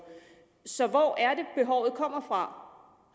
så hvor er det behovet kommer fra